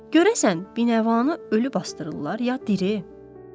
Görəsən, binəvanı ölü basdırırlar ya diri?